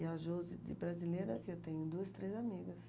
E a Josi, de brasileira, que eu tenho duas, três amigas.